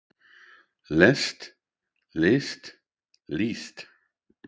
lest list líst